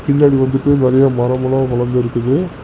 பின்னாடி வந்துட்டு நெறைய மரம்லாம் வளந்துருக்குது.